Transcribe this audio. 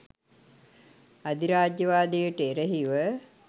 අධිරාජ්‍යවාදයට එරෙහිව